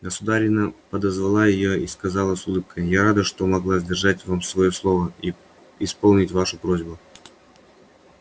государыня подозвала её и сказала с улыбкою я рада что могла сдержать вам своё слово и исполнить вашу просьбу